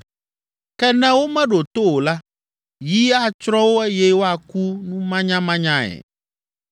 Ke ne womeɖo to o la, yi atsrɔ̃ wo eye woaku numanyamanyae.